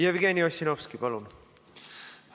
Jevgeni Ossinovski, palun!